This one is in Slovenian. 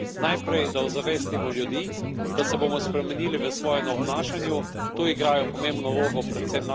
Zelo pomembno pri tem je dvoje najprej, da ozavestimo ljudi, da se bomo spremenili v svojem obnašanju.